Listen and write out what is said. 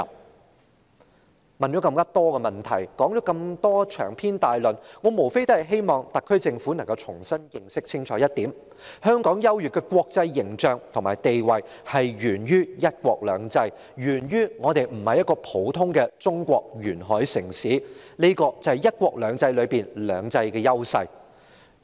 主席，提出了這麼多問題，長篇大論，我無非希望特區政府可以重新認清一點，就是香港優越的國際形象和地位，是源於"一國兩制"，是源於香港不是中國一個普通的沿海城市，這是"一國兩制"中"兩制"的優勢。